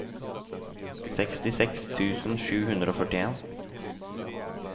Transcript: sekstiseks tusen sju hundre og førtien